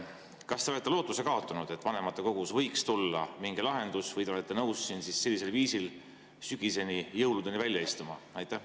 Kas te olete lootuse kaotanud, et vanematekogus võiks tulla mingi lahendus, või te olete nõus siin sellisel viisil sügiseni või jõuludeni välja istuma?